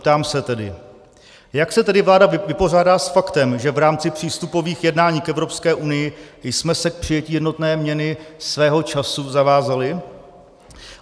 Ptám se tedy: Jak se tedy vláda vypořádá s faktem, že v rámci přístupových jednání k Evropské unii jsme se k přijetí jednotné měny svého času zavázali?